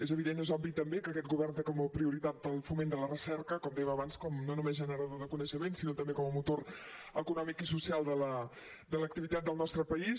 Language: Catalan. és evident és obvi també que aquest govern té com a prioritat el foment de la recerca com dèiem abans no només com a generador de coneixement sinó també com a motor econòmic i social de l’activitat del nostre país